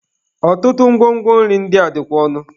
Ọtụtụ ngwo ngwo nri ndị a dịkwa ọnụ.